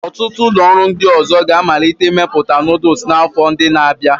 Ọtụtụ ụlọ ọrụ ndị ọzọ ga-amalite imepụta noodles n'afọ ndị na-abịa.